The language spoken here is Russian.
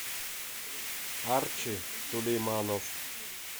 арчи сулейманов